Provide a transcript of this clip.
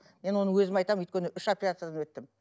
мен оны өзім айтамын өйткені үш операциядан өттім